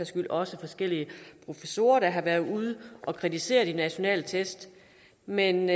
skyld også forskellige professorer der har været ude og kritisere de nationale test men